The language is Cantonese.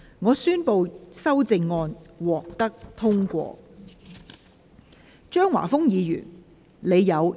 我宣布修正案獲得通過。